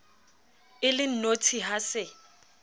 e le nnotshi ha se